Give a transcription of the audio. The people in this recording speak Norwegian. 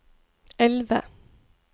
elve